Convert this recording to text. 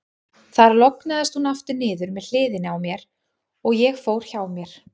Þar lognaðist hún aftur niður með hliðinni á mér, og ég fór hjá mér.